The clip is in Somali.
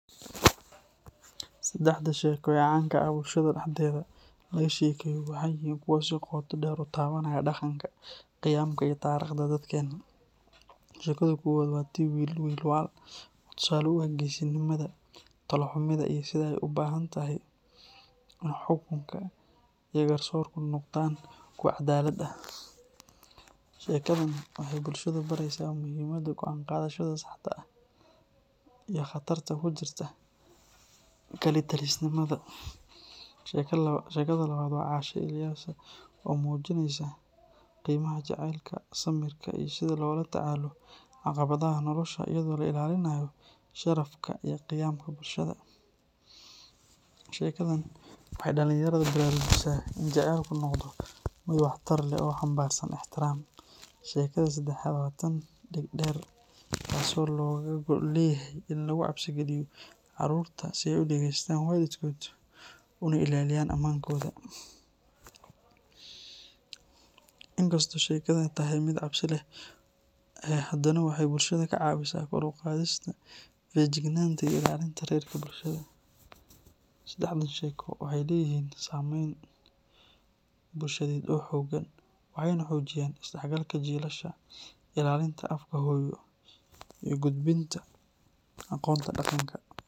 Saddexda sheeko ee caanka ah ee bulshada dhexdeeda laga sheekeeyo waxay yihiin kuwo si qoto dheer u taabanaya dhaqanka, qiyamka, iyo taariikhda dadkeena. Sheekada koowaad waa tii "Wiil Waal," oo tusaale u ah geesinimada, talo-xumida, iyo sida ay u baahan tahay in xukunka iyo garsoorku noqdaan kuwo caddaalad ah. Sheekadan waxay bulshada baraysaa muhiimadda go’aan qaadashada saxda ah iyo khatarta ku jirta kalitalisnimada. Sheekada labaad waa "Caasha Ilyasa," oo muujinaysa qiimaha jacaylka, samirka, iyo sida loola tacaalo caqabadaha nolosha iyadoo la ilaalinayo sharafka iyo qiyamka bulshada. Sheekadan waxay dhalinyarada baraarujisaa in jacaylku noqdo mid waxtar leh oo xambaarsan ixtiraam. Sheekada saddexaad waa tan "Dhegdheer," taasoo looga gol leeyahay in lagu cabsi geliyo carruurta si ay u dhegeystaan waalidkood una ilaaliyaan ammaankooda. Inkastoo sheekadani tahay mid cabsi leh, haddana waxay bulshada ka caawisaa kor u qaadista feejignaanta iyo ilaalinta xeerarka bulshada. Saddexdan sheeko waxay leeyihiin saameyn bulsheed oo xooggan, waxayna xoojiyaan isdhexgalka jiilasha, ilaalinta afka hooyo, iyo gudbinta aqoonta dhaqanka.